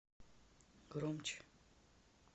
громче